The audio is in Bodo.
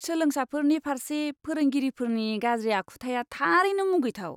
सोलोंसाफोरनि फारसे फोरोंगिरिफोरनि गाज्रि आखुथाया थारैनो मुगैथाव।